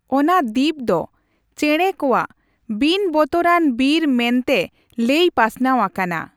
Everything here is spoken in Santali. ᱚᱱᱟ ᱫᱤᱯ ᱫᱚ ᱪᱮᱸᱲᱮ ᱠᱚᱣᱟᱜ ᱵᱤᱱᱵᱚᱛᱚᱨᱟᱱ ᱵᱤᱨ ᱢᱮᱱ ᱛᱮ ᱞᱟᱹᱭ ᱯᱟᱥᱱᱟᱣ ᱟᱠᱟᱱᱟ ᱾